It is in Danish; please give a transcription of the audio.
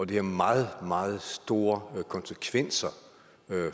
det har meget meget store konsekvenser